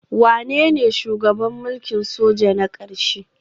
Wanene shugaban mulkin soja na ƙarshe?